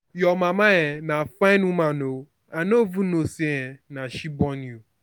your mama um na fine woman oo i no even know say um na she wey born you